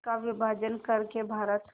का विभाजन कर के भारत